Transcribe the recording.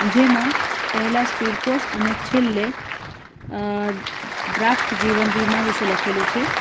જેમાં પહેલા speed post અને છેલ્લે ડ્રાફ્ટ જીવન વીમા વિશે લખેલું છે.